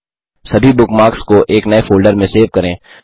सभी बुकमार्क्स को एक नये फ़ोल्डर में सेव करें